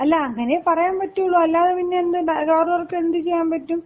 അല്ല, അങ്ങനയേ പറയാൻ പറ്റുള്ളൂ. അല്ലാതെ പിന്നെ അവർക്ക് എന്ത് ചെയ്യാൻ പറ്റും